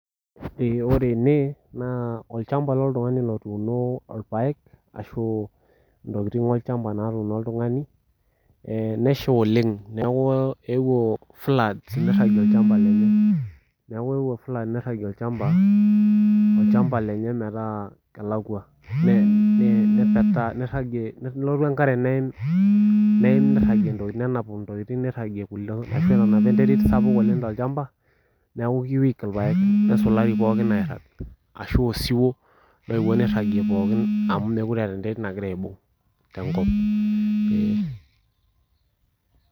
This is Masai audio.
Eeh wore ene, naa olchamba loltungani otuuno irpaek ashu intokitin olchamba lootuno oltungani, nesha oleng',neeku eewuo floods nirragie olchamba lenye. Neeku eewuo floods nirragie olchamba lenye metaa kelakwa, nepetaa niragie, nelotu enkare neim niragie nenap intokitin nirragie kulie, ashu etanapa enterit sapuk tolchamba. Neeku ke weak irpaek nesulari pookin airag. Ashu osiwuo ooyewuo nirragie pookin amu mekure eeta enterit nakira aibung tenkop, eeh.